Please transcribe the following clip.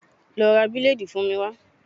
Lọ ra bileedi fún mi wá.